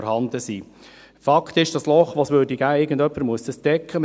Irgendjemand müsste das Loch, das entstünde, stopfen.